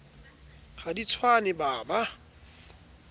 ha di tswane ba ba